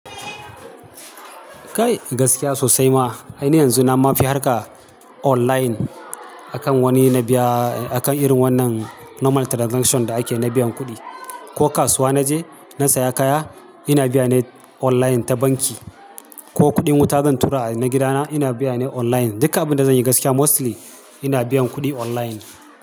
Kai gaskiya sosai ma. Ai ni yanzu na ma fi harka online akan wani na biya akan irin wannan normal transaction da ake na biyan kuɗi. Ko kasuwa na je na saya kaya, ina biya ne online ta banki. Ko kuɗin wuta zan tura na gidana, ina biya ne online. Duka abin da zanyi gaskiya mostly ina biyan kuɗi online.